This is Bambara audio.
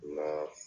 Nka